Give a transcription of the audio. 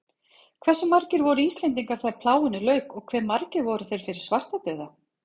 Hversu margir voru Íslendingar þegar plágunni lauk og hve margir voru þeir fyrir svartadauða?